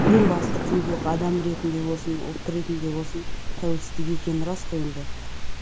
ең басты құндылық адам ретінде болсын ұлт ретінде болсын тәуелсіздік екені рас қой енді